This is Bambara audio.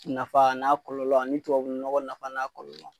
Nafa a n'a kɔlɔlɔ ani tubabu nɔgɔ nafa n'a kɔlɔlɔ